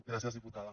gràcies diputada